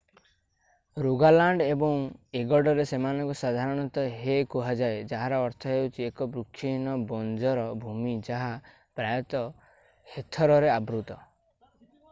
Rogaland ଏବଂ ଏଗଡ଼ରରେ ସେମାନଙ୍କୁ ସାଧାରଣତଃ ହେ କୁହାଯାଏ ଯାହାର ଅର୍ଥ ହେଉଛି ଏକ ବୃକ୍ଷହୀନ ବଞ୍ଜର ଭୂମି ଯାହା ପ୍ରାୟତଃ ହେଥରରେ ଆବୃତ ।